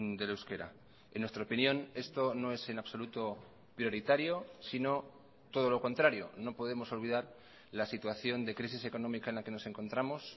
del euskera en nuestra opinión esto no es en absoluto prioritario sino todo lo contrario no podemos olvidar la situación de crisis económica en la que nos encontramos